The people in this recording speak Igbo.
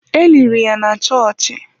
E liri ya na chọọchị.